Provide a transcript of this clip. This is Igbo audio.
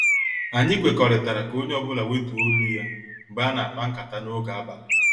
Anyị kwekọrịtara ka onye ọ bụla wetuo olu ya mgbe ana- akpa nkata n' oge abalị.